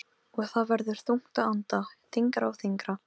Og það verður þungt að anda, þyngra og þyngra.